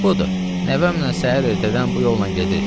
Budur, nəvəmlə səhər ertədən bu yolla gedirik.